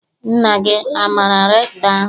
Nna gị amaara rektọ ahụ?